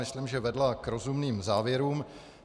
Myslím, že vedla k rozumným závěrům.